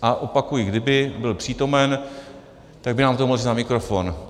A opakuji, kdyby byl přítomen, tak by nám to mohl říct na mikrofon.